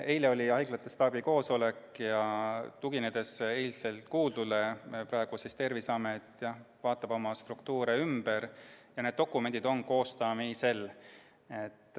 Eile oli haiglate staabi koosolek ja tuginedes seal kuuldule, vaatab Terviseamet praegu oma struktuure ümber ja need dokumendid on koostamisel.